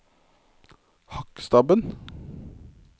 Hakkstabben